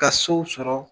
Ka sow sɔrɔ